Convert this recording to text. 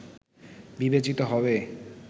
বিবেচিত হবে